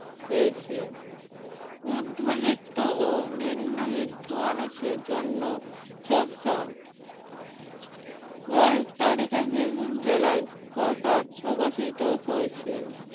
পেয়েছে। মধ্যবিত্ত ও নিম্নবিত্ত মানুষের জন্য বাইশ তারিখে বীরভূম জেলায় পাতায় প্রকাশিত হয়েছে।